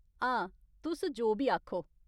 हां, तुस जो बी आखो।